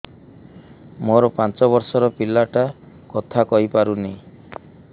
ମୋର ପାଞ୍ଚ ଵର୍ଷ ର ପିଲା ଟା କଥା କହି ପାରୁନି